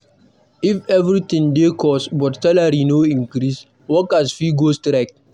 If everything dey cost but salary no increase, workers fit go strike.